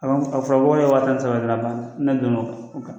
A fɔra ko wa tan ni saba